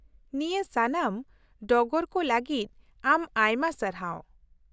-ᱱᱤᱭᱟᱹ ᱥᱟᱱᱟᱢ ᱰᱚᱜᱚᱨ ᱠᱚ ᱞᱟᱹᱜᱤᱫ ᱟᱢ ᱟᱭᱢᱟ ᱥᱟᱨᱦᱟᱣ ᱾